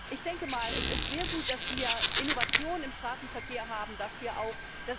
Ich denke mal, es ist sehr gut, dass wir Innovation im Straßenverkehr haben, dass wir auch...